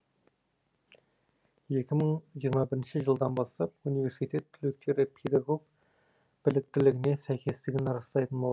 екі мың жиырма бірінші жылдан бастап университет түлектері педагог біліктілігіне сәйкестігін растайтын болады